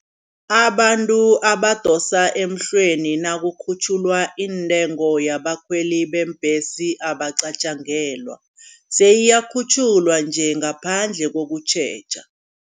Abantu abadosa emhlweni nakukhutjhulwa intengo yabakhweli beembhesi abacatjangelwa. Seyiyakhutjhulwa nje ngaphandle kokutjheja.